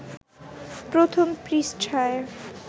প্রথম পৃষ্ঠায়